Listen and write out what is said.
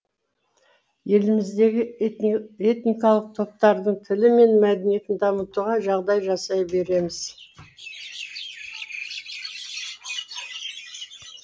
еліміздегі этникалық топтардың тілі мен мәдениетін дамытуға жағдай жасай береміз